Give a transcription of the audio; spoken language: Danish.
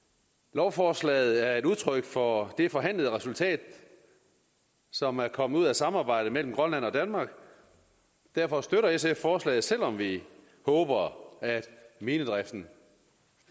lovforslaget er et udtryk for det forhandlede resultat som er kommet ud af samarbejdet mellem grønland og danmark derfor støtter sf forslaget selv om vi håber at minedriften